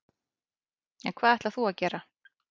En hvað ætlar þú að gera?